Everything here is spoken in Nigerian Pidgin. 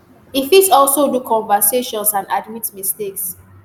e fit also do conversations and admit mistakes